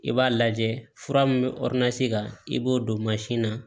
I b'a lajɛ fura min bɛ kan i b'o don mansin na